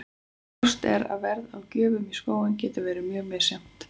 Ljóst er að verð á gjöfum í skóinn getur verið mjög misjafnt.